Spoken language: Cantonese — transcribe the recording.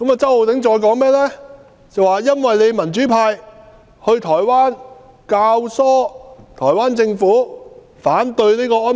周浩鼎議員還說，民主派到台灣，教唆台灣政府反對這個安排。